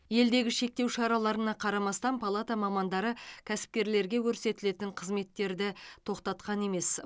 елдегі шектеу шараларына қарамастан палата мамандары кәсіпкерлерге көрсетілетін қызметтерді тоқтатқан емес